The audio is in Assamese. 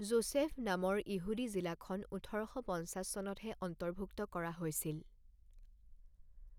জোচেফভ নামৰ ইহুদী জিলাখন ওঠৰ শ পঞ্চাছ চনতহে অন্তৰ্ভুক্ত কৰা হৈছিল।